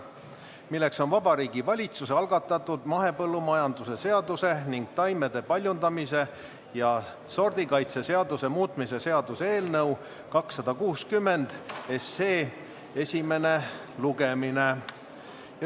See on Vabariigi Valitsuse algatatud mahepõllumajanduse seaduse ning taimede paljundamise ja sordikaitse seaduse muutmise seaduse eelnõu 260 esimene lugemine.